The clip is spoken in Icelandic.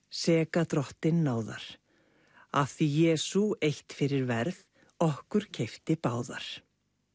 seka drottinn náðar af því Jesú eitt fyrir verð okkur keypti báðar